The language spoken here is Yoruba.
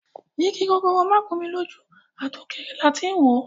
Igi gogoro má gún mi lójú ,àtòkèrè làá ti ń wòó.